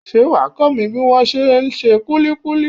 Ṣé wàá kó mi bí wón se ń ṣe kulikuli?